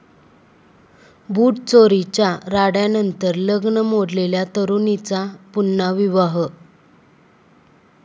बुटचोरीच्या राड्यानंतर लग्न मोडलेल्या तरुणीचा पुन्हा विवाह